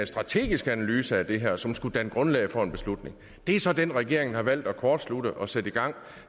strategisk analyse af det her som skulle danne grundlag for en beslutning det er så den regeringen har valgt at kortslutte og sætte i gang